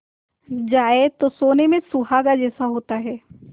जाए तो सोने में सुहागा जैसा होता है